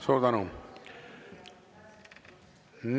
Suur tänu!